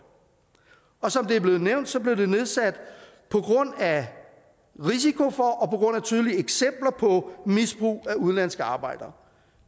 og som det er blevet nævnt blev det nedsat på grund af risiko for og af tydelige eksempler på misbrug af udenlandske arbejdere